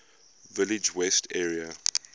village west area